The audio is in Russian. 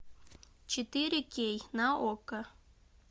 четыре кей на окко